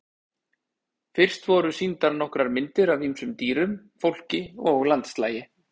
Fyrst voru sýndar nokkrar myndir af ýmsum dýrum, fólki og landslagi.